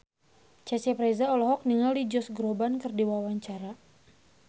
Cecep Reza olohok ningali Josh Groban keur diwawancara